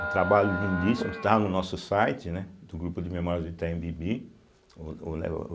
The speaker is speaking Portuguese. Um trabalho lindíssimo, está no nosso site, né, do Grupo de Memórias do Itaim Bibi ou ou lé ou.